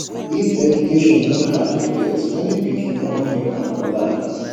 if education no hard to get many pikin for don make am for life